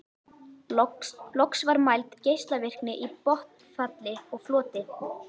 Loks var mæld geislavirkni í botnfalli og floti.